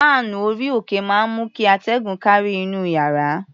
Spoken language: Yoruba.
Fáànù orí-òkè máa ń mú kí atẹ́gùn kárí inú iyàrá.